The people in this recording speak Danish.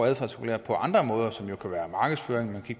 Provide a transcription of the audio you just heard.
adfærdsregulere på andre måder som jo kan være markedsføring